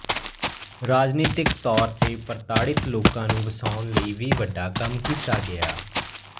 ਰਾਜਨੀਤਕ ਤੌਰ ਤੇ ਪ੍ਰਤਾੜਿਤ ਲੋਕਾਂ ਨੂੰ ਬਸਾਉਣ ਲਈ ਵੀ ਵੱਡਾ ਕੰਮ ਕੀਤਾ ਗਿਆ